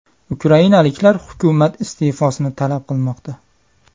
Ukrainaliklar hukumat iste’fosini talab qilmoqda.